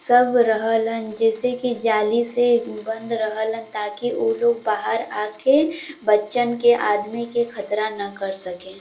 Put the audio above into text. सब रहलन जैसे कि जाली से उ बंद रहलन ताकि उ लोग बाहर आके बच्चन के आदमी के खतरा ना कर सके।